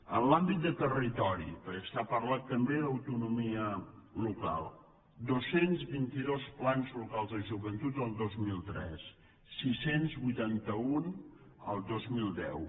en l’àmbit de territori perquè s’ha parlat també d’autonomia local dos cents i vint dos plans locals de joventut el dos mil tres sis cents i vuitanta un el dos mil deu